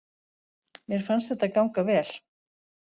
Mér fannst þetta ganga vel